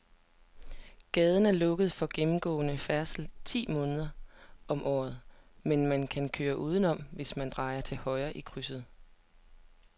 Gaden er lukket for gennemgående færdsel ti måneder om året, men man kan køre udenom, hvis man drejer til højre i krydset.